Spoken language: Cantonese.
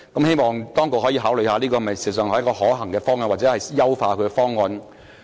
希望當局可以考慮這是否一個可行的方向，或優化這方案。